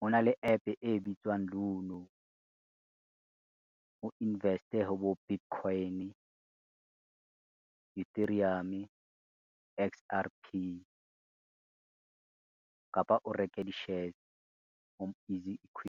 hona le app e bitswang Luno, o invest-e ho bo Bitcoin, , X_R_P, kapa o reke di-shares ho easy equity.